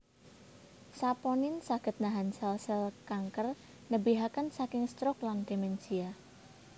Saponin saged nahan sèl sèl kanker nebihaken saking stroke lan demensia